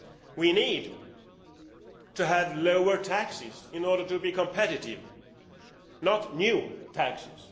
We need to have lower taxes in order to become competitive, not new taxes.